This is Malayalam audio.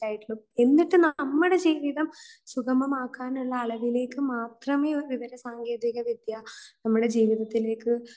എന്നിട്ട് നമ്മുടെ ജീവിതം സുഗമമാക്കാനുള്ള അളവിലേക്ക് മാത്രമേ വിവര സങ്കേതികവിദ്യ നമ്മുടെ ജീവിതത്തിലേയ്ക്ക്